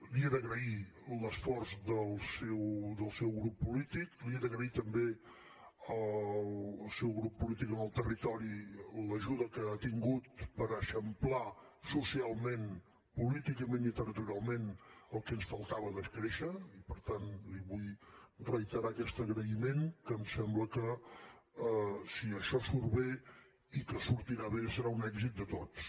li he d’agrair l’esforç del seu grup polític li he d’agrair també al seu grup polític en el territori l’ajuda que ha tingut per eixamplar socialment políticament i territorialment el que ens faltava de créixer i per tant li vull reiterar aquest agraïment que em sembla que si això surt bé i que sortirà bé serà un èxit de tots